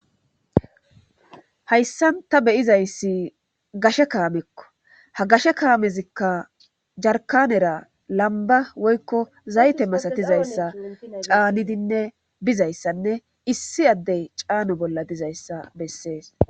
Hayssan ta beyizayssi gashe kaamekko ha gashe kaamezikka jarkanera lamba woykko zayte masatizayssa caanidinne bizayssanne issi addey caano bolla dizayssa bessees